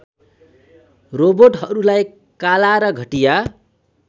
रोबोटहरूलाई काला र घटिया